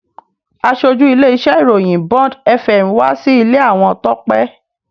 Aṣojú ilé-iṣẹ́ ìròyìn Bond fm wá sí ilé àwọn Tọ́pẹ́